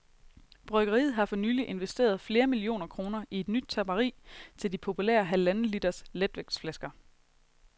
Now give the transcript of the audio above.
Bryggeriet har for nylig investeret flere millioner kroner i et nyt tapperi til de populære halvanden liters letvægtsflasker.